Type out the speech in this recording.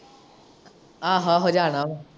ਆਹੋ ਆਹੋ ਜਾਣਾ ਵਾ।